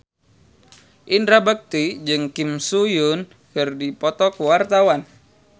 Indra Bekti jeung Kim So Hyun keur dipoto ku wartawan